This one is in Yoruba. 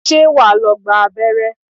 Ṣé wà á lọ gba abẹ́rẹ́?